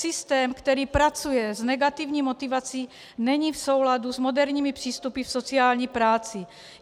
Systém, který pracuje s negativní motivací, není v souladu s moderními přístupy v sociální práci.